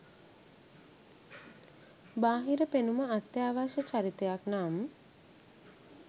බාහිර පෙනුම අත්‍යාවශ්‍ය චරිතයක් නම්